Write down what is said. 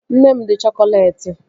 Nne m dị chokoleti